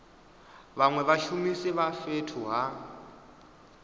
vhanwe vhashumisi vha fhethu ha